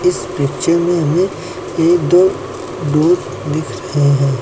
इस पिक्चर में हमें एक दो डोर दिख रहे हैं।